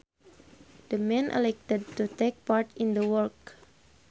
The man elected to take part in the work